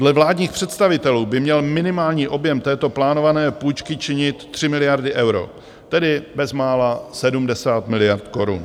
Dle vládních představitelů by měl minimální objem této plánované půjčky činit tři miliardy euro, tedy bezmála 70 miliard korun.